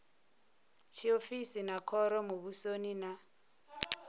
tshiofisi vha khoro muvhusoni na